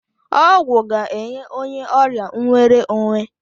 Ọgwụ ga-enye onye ọrịa nwere onwe.